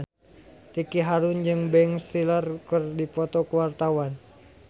Ricky Harun jeung Ben Stiller keur dipoto ku wartawan